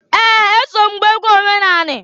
Ee! Eso m gbaa egwu omenani.